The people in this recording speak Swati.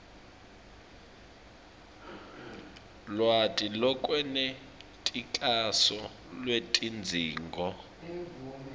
lwati lolwenetisako lwetidzingo